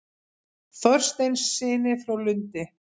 Þorsteinssyni frá Lundi.